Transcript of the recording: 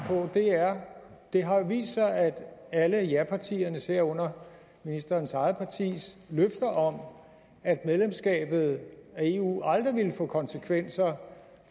på er det har jo vist sig at alle japartiernes herunder ministerens eget partis løfter om at medlemskabet af eu aldrig ville få konsekvenser